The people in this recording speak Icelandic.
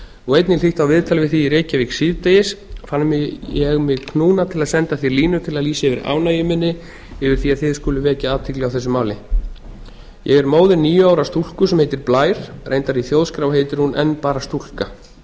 og einnig hlýtt á viðtal við þig í reylajvík síðdegis fann ég mig knúna til að senda þér línu til að lýsa yfir ánægju minni yfir því að þið skulið vekja athygli á þessu máli ég er móðir níu ára stúlku sem heitir blær reyndar í þjóðskrá heitir hún enn bara stúlka